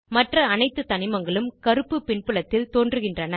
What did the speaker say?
மற்ற அனைத்து தனிமங்களும் கருப்பு பின்புலத்தில் தோன்றுகின்றன